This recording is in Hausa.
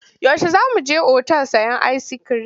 Yaushe za mu je otal sayen ayiskirim?